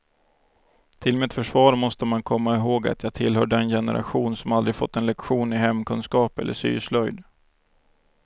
Till mitt försvar måste man komma ihåg att jag tillhör den generation som aldrig fått en lektion i hemkunskap eller syslöjd.